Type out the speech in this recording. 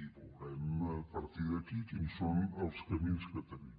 i veurem a partir d’aquí quins són els camins que tenim